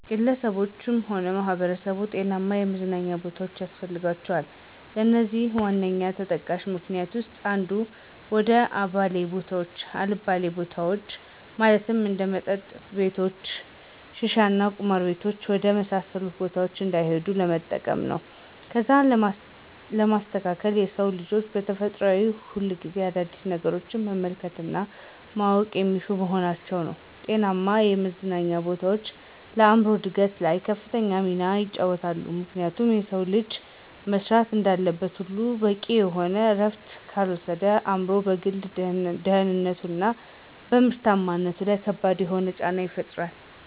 ግለሰቦች ሆነ ማህበረሰቦች ጤናማ የመዝናኛ ቦታዎች ያስፈልጋቸዋል። ለዚህም ዋነኛ ተጠቃሽ ምክኒያቶች ዉስጥ አንዱ፦ ወደ አልባሌ ቦታዎች ማለትም እንደ መጠጥ ቤቶች፣ ሽሻቤት እና ቁማር ቤት ወደ መሳሰሉት ቦታዎች እንዳይሄዱ ለመጠበቅ ነው። ከዛም በማስከተል የሰው ልጆች በተፈጥሮ ሁሌም አዳዲስ ነገሮችን መመልከት እና ማወቅን የሚሹ በመሆናቸው ነው። ጤናማ የመዝናኛ ቦታዎች ለአእምሮ እድገት ላይ ከፍተኛ ሚናን ይጫወታሉ፤ ምክንያቱም የሰው ልጅ መስራት እንዳለበት ሁሉ በቂ የሆነ እረፍትንም ካልወሰደ በአእምሮው፣ በግል ደህንነቱ፣ እና በምርታማነቱ ለይ ከባድ የሆነን ጫና ይፈጥርበታል።